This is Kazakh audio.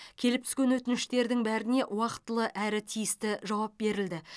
келіп түскен өтініштердің бәріне уақтылы әрі тиісті жауап берілді